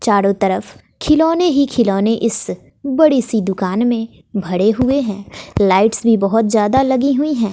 चारों तरफ खिलौने ही खिलौने इस बड़ी सी दुकान में भरे हुए हैं लाइट्स भी बहुत ज्यादा लगी हुई हैं।